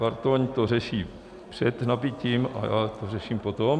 Bartoň to řeší před nabytím a já to řeším potom.